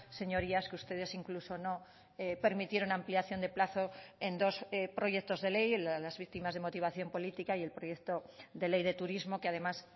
señorías que ustedes incluso no permitieron ampliación de plazo en dos proyectos de ley las víctimas de motivación política y el proyecto de ley de turismo que además